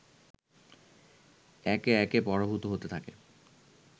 একে একে পরাভূত হতে থাকে